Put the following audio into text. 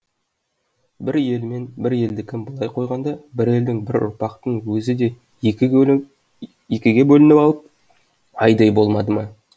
бір елмен бір елдікін былай қойғанда бір елдің бір ұрпақтың өзі де екіге бөлініп алып айдай болмады ма